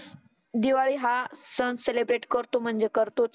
दिवाळी हा सण सेलीब्रेट करतो म्हणजे करतोच.